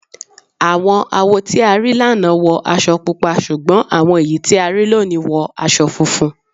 Àwọn awo tí a rí lánàá wọ aṣọ Pupa ṣùgbọ́n àwọn èyí tí a rí lónìí wọ aṣọ funfun.